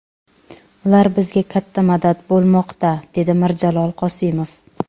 Ular bizga katta madad bo‘lmoqda”, dedi Mirjalol Qosimov.